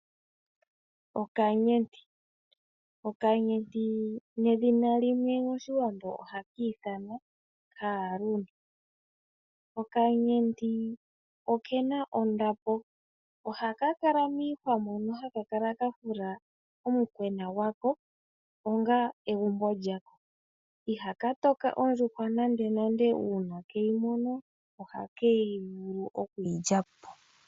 Okanyenti nedhina limwe moshiwambo ohaka ithanwa okaaluni noke na ondapo. Ohaka kala miihwa moka haka kala ka fula omukwena gwako onga egumbo lyako iha ka toka ondjuhwa nande nande uuna keyi mono ohake yi vulu okuyi lyapo.